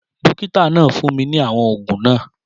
Dókítà náà fún mi ní àwọn ògùn náà